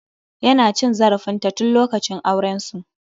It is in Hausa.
Ya na cin zarafin ta tun lokacin auren su.